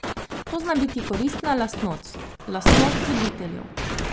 To zna biti koristna lastnost, lastnost voditeljev.